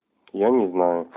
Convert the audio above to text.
я не знаю